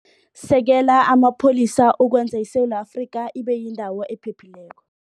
Sekela Amapholisa Ukwenza ISewula Afrika Ibe Yindawo Ephephileko